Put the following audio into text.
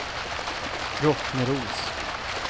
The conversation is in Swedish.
Rottneros